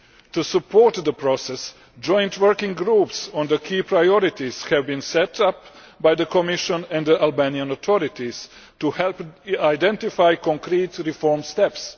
To support the process, joint working groups on the key priorities have been set up by the Commission and the Albanian authorities to help identify concrete reform steps.